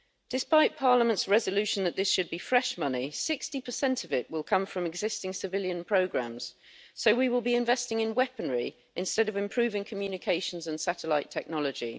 Despite Parliament's resolution that this should be fresh money, 60 of it will come from existing civilian programmes, so we will be investing in weaponry instead of improving communications and satellite technology.